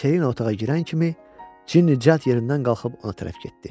Selina otağa girən kimi Cinni cəld yerindən qalxıb ona tərəf getdi.